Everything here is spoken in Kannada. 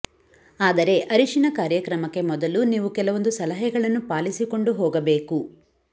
ಆದರೆ ಅರಿಶಿನ ಕಾರ್ಯಕ್ರಮಕ್ಕೆ ಮೊದಲು ನೀವು ಕೆಲವೊಂದು ಸಲಹೆಗಳನ್ನು ಪಾಲಿಸಿಕೊಂಡು ಹೋಗಬೇಕು